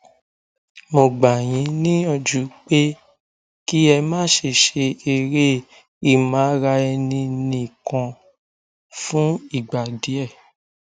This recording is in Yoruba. mo gbà yín níyànjú pé kí ẹ má ṣe ṣe eré ìmáraẹninìkan fún ìgbà díẹ